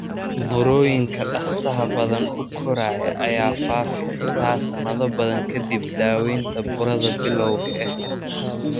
Burooyinka dhaqsaha badan u koraya ayaa faafi xitaa sanado badan kadib daaweynta burada bilowga ah.